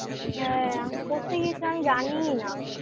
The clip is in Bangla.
হ্যাঁ আমি পড়তে গিয়েছিলাম আমি জানিইনা